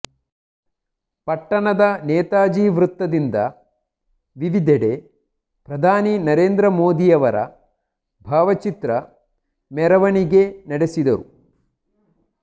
ಪಟ್ಟಣದ ನೇತಾಜಿ ವೃತ್ತದಿಂದ ವಿವಿಧೆಡೆ ಪ್ರಧಾನಿ ನರೇಂದ್ರ ಮೋದಿಯವರ ಭಾವಚಿತ್ರ ಮೆರವಣಿಗೆ ನಡೆಸಿದರು